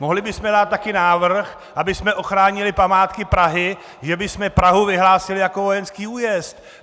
Mohli bychom dát také návrh, abychom ochránili památky Prahy, že bychom Prahu vyhlásili jako vojenský újezd.